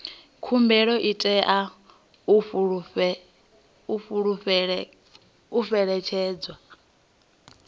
khumbelo i tea u fhelekedzwa